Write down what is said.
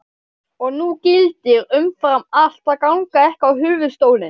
Og nú gildir umfram allt að ganga ekki á höfuðstólinn.